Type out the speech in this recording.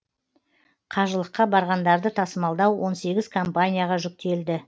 қажылыққа барғандарды тасымалдау он сегіз компанияға жүктелді